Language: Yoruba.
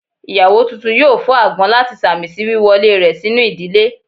Iyawo tuntun yóò fó agbon lati sámísi wiwọle rẹ sinu ìdílé.